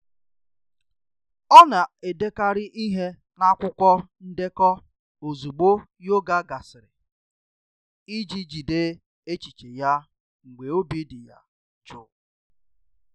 Ọna-edekarị ihe n'akwụkwọ ndekọ ozugbo yoga gasịrị iji jide echiche ya mgbe obi dị ya jụụ.